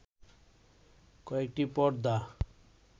কয়েকটি পর্দা